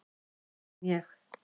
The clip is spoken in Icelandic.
Það man ég.